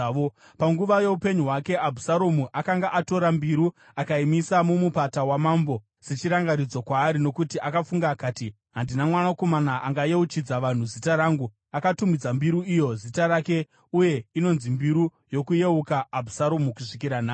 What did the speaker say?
Panguva youpenyu hwake, Abhusaromu akanga atora mbiru akaimisa muMupata waMambo sechirangaridzo kwaari, nokuti akafunga akati, “Handina mwanakomana angayeuchidza vanhu zita rangu.” Akatumidza mbiru iyo zita rake, uye inonzi Mbiru Yokuyeuka Abhusaromu kusvikira nhasi.